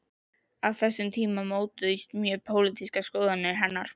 Á þessum tíma mótuðust mjög pólitískar skoðanir hennar.